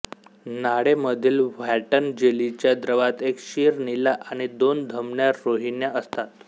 नाळेमधील Wharton जेलीच्या द्रवात एक शीर नीला आणि दोन धमन्या रोहिण्या असतात